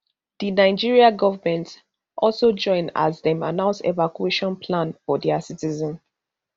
di nigerian government also join as dem announce evacuation plan for dia citizens